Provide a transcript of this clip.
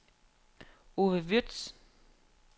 Ove Würtz